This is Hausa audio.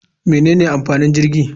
Menene amfanin jirgi?